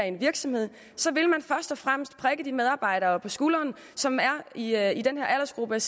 en virksomhed så vil man først og fremmest prikke de medarbejdere på skulderen som er i er i den her aldersgruppe